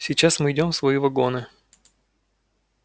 сейчас мы идём в свои вагоны